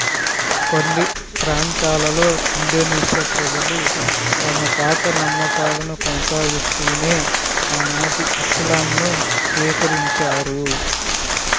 కొన్ని ప్రాంతాలలో ఇండోనేషియా ప్రజలు తమ పాత నమ్మకాలను కొనసాగిస్తూనే ఆనాటి ఇస్లాంను స్వీకరించారు